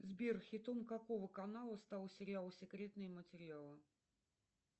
сбер хитом какого канала стал сериал секретные материалы